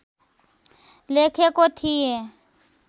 लेखेको थिएँ